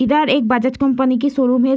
इधर एक बजाज कंपनी की शौरूम है।